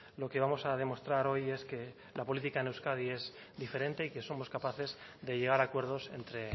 lo que vamos a demostrar hoy es que la política en euskadi es diferente y que somos capaces de llegar a acuerdos entre